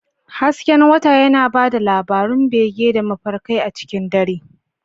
Hasken wata yana ba da labarun bege da mafarkai a cikin dare.